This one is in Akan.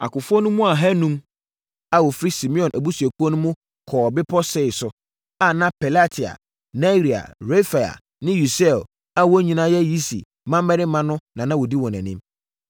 Akofoɔ no mu ahanum a wɔfiri Simeon abusuakuo mu no kɔɔ bepɔ Seir so, a na Pelatia, Nearia, Refaia ne Usiel a wɔn nyinaa yɛ Yisi mmammarima no na na wɔdi wɔn anim.